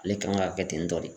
Ale kan ka kɛ ten tɔ de